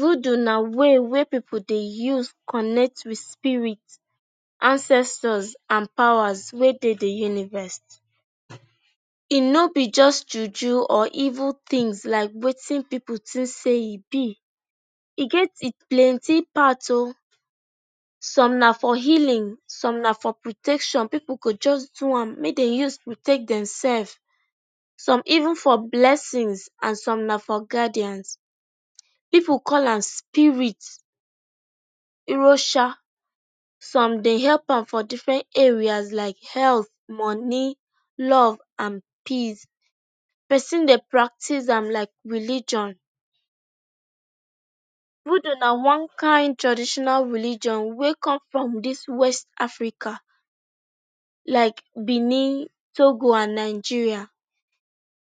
Voodoo na way wey pipu dey use connect wit spirit ancestors and powers wey dey di universe. E no be just juju or even tins like wetin pipu think say e be. E get plenty part o. Some na for healing, some na for protection, pipu go just do am make dem take protect demsef. Some even for blessings and some na for guardians. Pipu call am spirit, Irosha, some dey help am for diffren areas like health, moni, love and peace. Pesin dey practice am like religion. Voodoo na one kain traditional religion wey come from dis Afrika like Benin, Togo and Nigeria.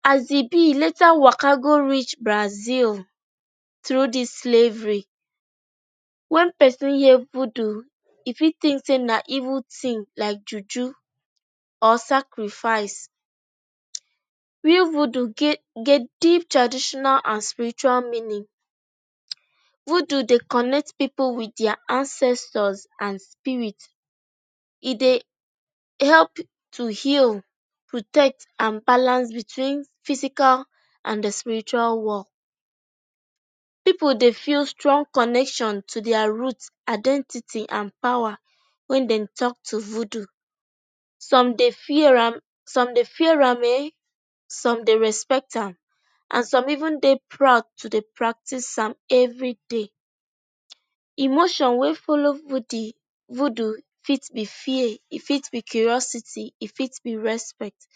As e be, later e waka go reach Brazil through dis slavery. Wen pesin hear voodoo, e fit think say na evil tin like juju or sacrifice. Real good get deep traditional and spiritual meaning. Voodoo dey connect pipu wit dia ancestors and spirit. E dey help to heal, protect and balance between physical and di spiritual world. Pipu dey feel strong connection to dia root, identity and power wen dem tok to voodoo. Some dey fear am, some dey fear am e, some dey respect am and some even dey proud to dey practice am evri day. Emotion wey follow voodoo fit be fear, e fit be curiousity, e fit be respect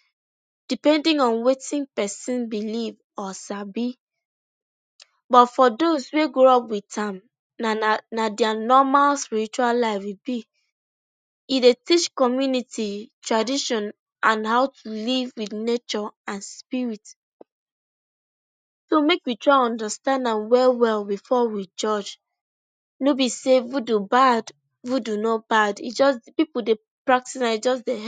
depending on wetin pesin belief or sabi. But for dose wey grow up wit am, na dia normals ritual life e be. E dey teach community tradition and how to live wit nature and spirit. So make we try understand am well well bifor we judge. No be say voodoo, voodoo no bad, e just pipu dey practice am. E just dey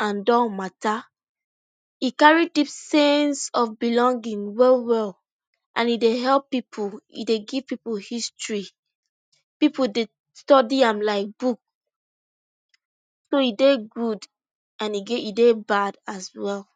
and matta, e carry deep sense of belonging well well and e dey help pipu. E dey give pipu history, pipu dey study am like book. So e dey good and again e dey bad as well.